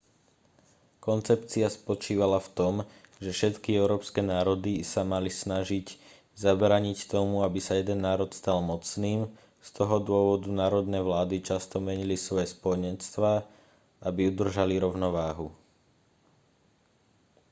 koncepcia spočívala v tom že všetky európske národy sa mali snažiť zabrániť tomu aby sa jeden národ stal mocným z toho dôvodu národné vlády často menili svoje spojenectvá aby udržali rovnováhu